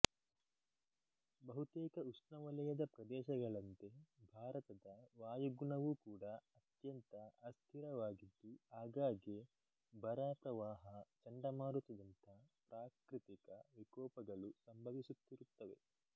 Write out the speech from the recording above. ಬಹುತೇಕ ಉಷ್ಣವಲಯದ ಪ್ರದೇಶಗಳಂತೆ ಭಾರತದ ವಾಯುಗುಣವೂ ಕೂಡ ಅತ್ಯಂತ ಅಸ್ಠಿರವಾಗಿದ್ದು ಆಗಾಗ್ಗೆ ಬರ ಪ್ರವಾಹ ಚಂಡಮಾರುತದಂಥ ಪ್ರಾಕೃತಿಕ ವಿಕೋಪಗಳು ಸಂಭವಿಸುತ್ತಿರುತ್ತವೆ